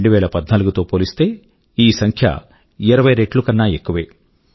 2014తో పోలిస్తే ఈ సంఖ్య 20 రెట్లు కన్నా ఎక్కువే